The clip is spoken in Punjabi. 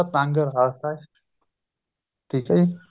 ਤੰਗ ਰਾਸ਼ਤਾ ਠੀਕ ਏ